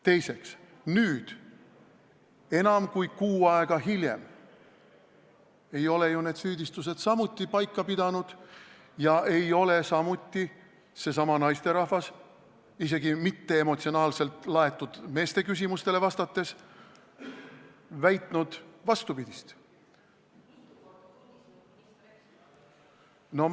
Teiseks, nüüd, enam kui kuu aega hiljem ei ole need süüdistused ju samuti paika jäänud ega ole ka seesama naisterahvas – isegi mitte emotsionaalselt laetud meeste küsimustele vastates – vastupidist väitnud.